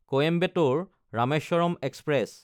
Coimbatore Rameswaram express